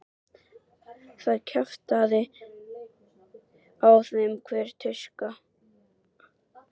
Það kjaftaði á þeim hver tuska.